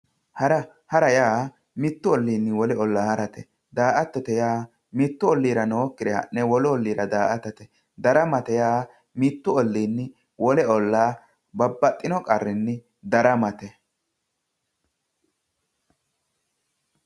hara hara yaa mittu olliinni wole ollaa harate daa"attote yaa mittu olliira nookkire ha'ne wolu olliira daa"atate daramate yaa mittu ollinni wole ollaa babbaxino qarrinni daramate.